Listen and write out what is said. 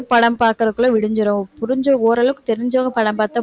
படம் பார்க்குறதுக்குள்ள விடிஞ்சிடும் புரிஞ்சு ஓரளவுக்கு தெரிஞ்சவங்க படம் பார்த்தா